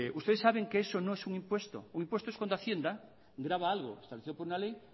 ustedes saben que eso no es un impuesto un impuesto es cuando hacienda graba algo establecido por una ley